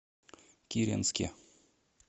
киренске